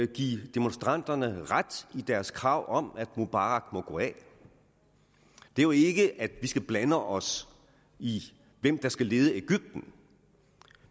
give demonstranterne ret i deres krav om at mubarak må gå af det er jo ikke at sige at vi skal blande os i hvem der skal lede egypten